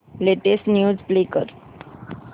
latest news play कर